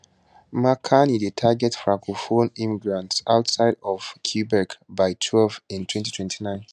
mark carney dey target francophone immigrants outside of quebec by twelve in 2029